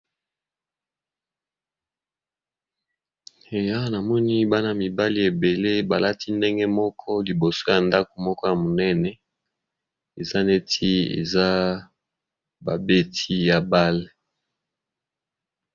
Eya namoni bana mibali ebele balati ndenge moko liboso ya ndako moko ya monene eza neti eza babeti ya bale.